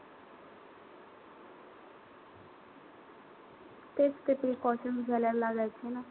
तेच ते precautions घ्यावे लागायचे ना.